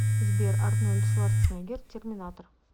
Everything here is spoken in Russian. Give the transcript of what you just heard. сбер арнольд шварценеггер терминатор